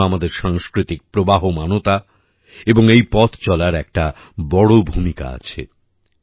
এর জন্য আমাদের সাংস্কৃতিক প্রবাহমানতা এবং এই পথ চলার একটা বড় ভূমিকা আছে